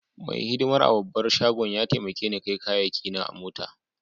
Mai hidimar a'babban shagon ya taimake ni kai kayaki na mota.